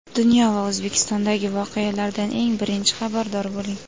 Dunyo va O‘zbekistondagi voqealardan eng birinchi xabardor bo‘ling.